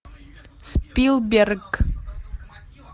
спилберг